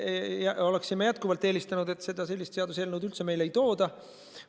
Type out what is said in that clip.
Me oleksime jätkuvalt eelistanud, et sellist seaduseelnõu üldse meile ei tooda.